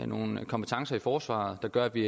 nogle kompetencer i forsvaret der gør at vi